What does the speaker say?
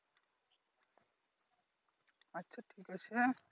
আচ্ছা ঠিক আছে